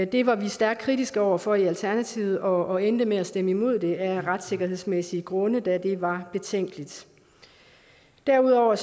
det var vi stærkt kritiske over for i alternativet og endte med at stemme imod det af retssikkerhedsmæssige grunde da det var betænkeligt derudover